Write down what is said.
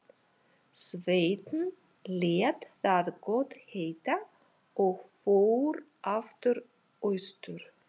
Sveinn lét það gott heita og fór aftur austur.